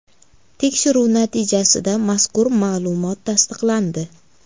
Tekshiruv natijasida mazkur ma’lumot tasdiqlandi.